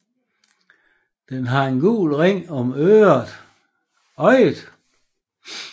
Den har en gul ring om øjet